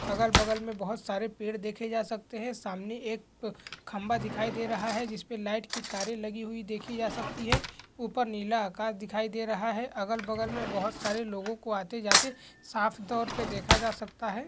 अगल-बगल में बहुत सारे पेड़ देखे जा सकतें हैं सामने एक खंभा दिखाई दे रहा है जिसपे लाइट की तारें लगी हुई देखी जा सकती है ऊपर नीला आकाश दिखाई दे रहा है अगल-बगल बहुत सारे लोगों को आते-जाते साफ तौर पे देखा जा सकता है।